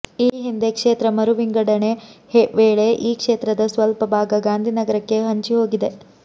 ಈ ಹಿಂದೆ ಕ್ಷೇತ್ರ ಮರುವಿಂಗಡಣೆ ವೇಳೆ ಈ ಕ್ಷೇತ್ರದ ಸ್ವಲ್ಪ ಭಾಗ ಗಾಂಧಿ ನಗರಕ್ಕೆ ಹಂಚಿಹೋಗಿದೆ